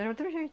Era outro jeito.